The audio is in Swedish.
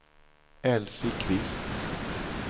Elsie Kvist